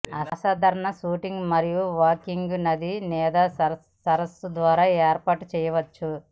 అసాధారణ షూటింగ్ మరియు వాకింగ్ నది లేదా సరస్సు ద్వారా ఏర్పాటు చేయవచ్చు